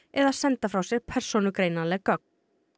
eða senda frá sér persónugreinanleg gögn